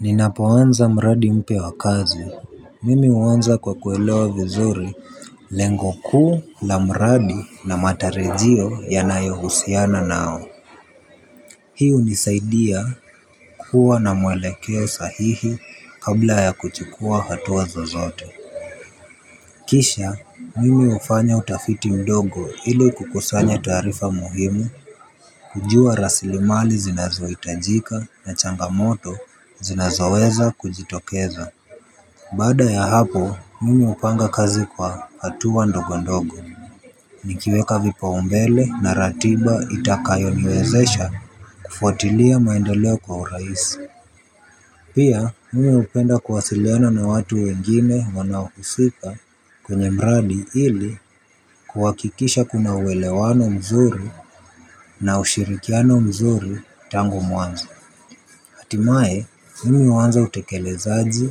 Ninapoanza mradi mpya wa kazi, mimi huanza kwa kuelewa vizuri lengo kuu la mradi na matarajio yanayohusiana nao. Hii hunisaidia kuwa na mwelekeo sahihi kabla ya kuchukuwa hatua zozote. Kisha, mimi hufanya utafiti mdogo ili kukusanya taarifa muhimu kujua rasilimali zinazohitajika na changamoto zinazoweza kujitokeza. Baada ya hapo mimi hupanga kazi kwa hatua ndogo ndogo. Nikiweka vipaumbele na ratiba itakayoniwezesha kufuatilia maendeleo kwa urahisi. Pia mimi hupenda kuwasiliona na watu wengine wanaohusika kwenye mradi ili kuhakikisha kuna uwelewano mzuri na ushirikiano mzuri tangu mwanzo. Hatimaye, mimi huanza utekelezaji